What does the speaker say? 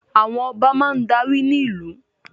Àwọn Ọba máa darí ní ìlú